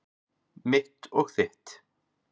Mitt og þitt.